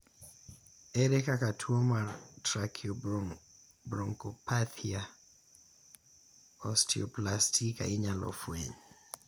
ere kaka tuo mar trakiobronchopathia osteoplastika inyalo fweny